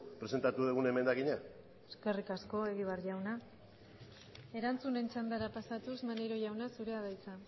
presentatu dugun emendakina eskerrik asko egibar jauna erantzunen txandara pasatuz maneiro jauna zurea da hitza